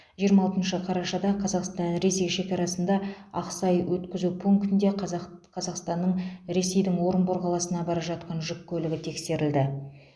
жиырма алтыншы қарашада қазақстан ресей шекарасында ақсай өткізу пунктінде қазақ қазақстанның ресейдің орынбор қаласына бара жатқан жүк көлігі тексерілді